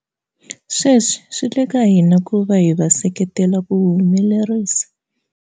Sweswi swi le ka hina ku va hi va seke tela ku wu humelerisa.